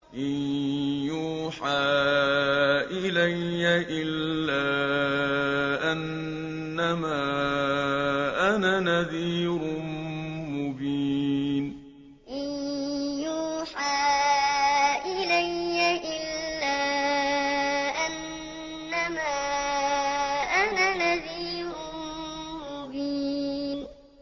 إِن يُوحَىٰ إِلَيَّ إِلَّا أَنَّمَا أَنَا نَذِيرٌ مُّبِينٌ إِن يُوحَىٰ إِلَيَّ إِلَّا أَنَّمَا أَنَا نَذِيرٌ مُّبِينٌ